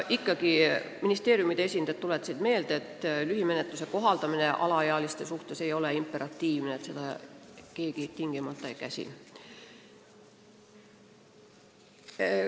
Ministeeriumide esindajad tuletasid veel meelde, et lühimenetluse kohaldamine alaealiste rikkumiste korral ei ole imperatiivne – seda keegi tingimata ei käsi.